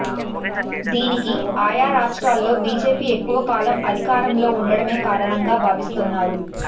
దీనికి ఆయా రాష్ట్రాల్లో బీజేపీ ఎక్కువ కాలం అధికారంలో ఉండటమే కారణంగా భావిస్తున్నారు